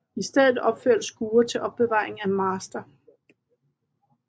I stedet opførtes skure til opbevaring af master